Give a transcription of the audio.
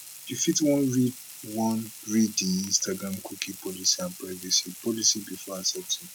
you fit wan read wan read di instagram cookie policy and privacy policy before accepting